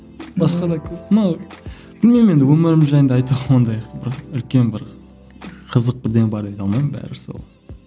басқа да көп но білмеймін енді өмірім жайында айтсам ондай үлкен бір қызық бірдеңе бар деп айта алмаймын бәрі сол